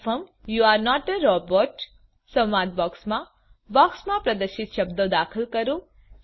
confirm you are not a robot સંવાદ બોક્સમાં બોક્સમાં પ્રદર્શિત શબ્દો દાખલ કરો